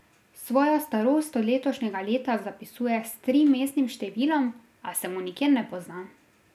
Svojo starost od letošnjega leta zapisuje s trimestnim številom, a se mu nikjer ne pozna.